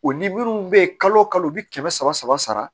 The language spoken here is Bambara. O ni minnu bɛ yen kalo kalo u bɛ kɛmɛ saba saba sara